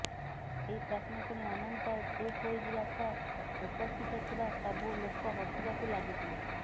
ଏହି ପ୍ରଶ୍ନ ଶୁଣି ଅନନ୍ତ ଚୁପ୍ ହୋଇଯିବା ସହ ଉପସ୍ଥିତ ଥିବା ସବୁ ଲୋକ ହସିବାକୁ ଲାଗିଥିଲେ